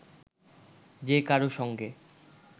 যে কারও সঙ্গে